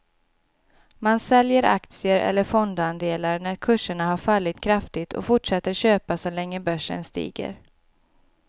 Man säljer aktier eller fondandelar när kurserna har fallit kraftigt och fortsätter köpa så länge börsen stiger.